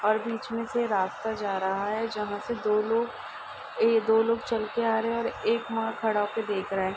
और बीच मे से रास्ता जा रहा है। जहाँ से दो लोग ए दो लोग चल के आ रहे हैं और एक वहाँ खड़ा होके देख रहा है।